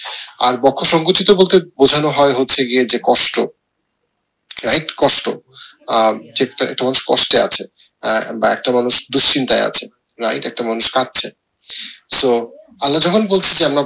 আর বক্ষ সংকোচিত বলতে বোঝানো হয় হচ্ছে গিয়ে যে কষ্ট কষ্ট আহ কষ্টে আছে বা একটা মানুষ কষ্টে আছে বা একটা মানুষ দুশ্চিন্তায় আছে right একটা মানুষ কাঁদছে so আল্লাহ যখন বলছে যে আল্লাহ